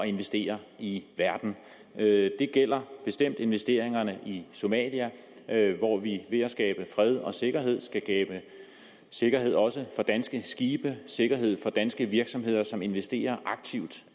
investere i verden det gælder bestemt investeringerne i somalia hvor vi ved at skabe fred og sikkerhed skal skabe sikkerhed også for danske skibe sikkerhed for danske virksomheder som investerer aktivt